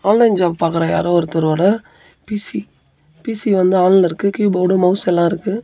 Online job பாக்குற யாரோ ஒருத்தரோட பி_சி பி_சி வந்து ஆன்ல இருக்கு கீபோர்டு மௌஸ் எல்லா இருக்கு.